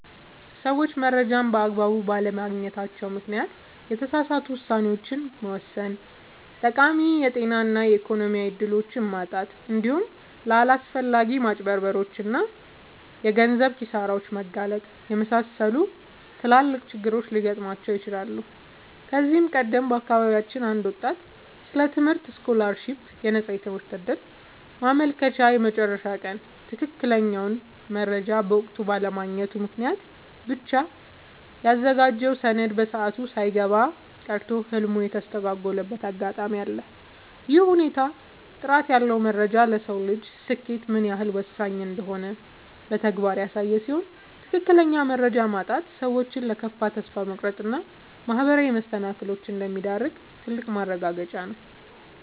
ሰዎች መረጃን በአግባቡ ባለማግኘታቸው ምክንያት የተሳሳቱ ውሳኔዎችን መወሰን፣ ጠቃሚ የጤና እና የኢኮኖሚ እድሎችን ማጣት፣ እንዲሁም ለአላስፈላጊ ማጭበርበሮች እና የገንዘብ ኪሳራዎች መጋለጥን የመሰሉ ትላልቅ ችግሮች ሊገጥሟቸው ይችላሉ። ከዚህ ቀደም በአካባቢያችን አንድ ወጣት ስለ ትምህርት ስኮላርሺፕ (የነፃ ትምህርት ዕድል) ማመልከቻ የመጨረሻ ቀን ትክክለኛውን መረጃ በወቅቱ ባለማግኘቱ ምክንያት ብቻ ያዘጋጀውን ሰነድ በሰዓቱ ሳያስገባ ቀርቶ ህልሙ የተስተጓጎለበት አጋጣሚ አለ። ይህ ሁኔታ ጥራት ያለው መረጃ ለሰው ልጅ ስኬት ምን ያህል ወሳኝ እንደሆነ በተግባር ያሳየ ሲሆን፣ ትክክለኛ መረጃ ማጣት ሰዎችን ለከፋ ተስፋ መቁረጥ እና ማህበራዊ መሰናክሎች እንደሚዳርግ ትልቅ ማረጋገጫ ነው።